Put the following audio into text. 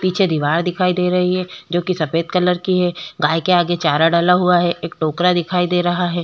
पीछे दीवार दिखाई दे रही है जो की सफेद कलर की है गाय के आगे चारा डला हुआ है एक टोकरा दिखाई दे रहा है ।